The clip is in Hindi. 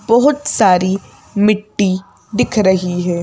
बहुत सारी मिट्टी दिख रही है।